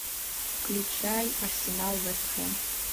включай арсенал вест хэм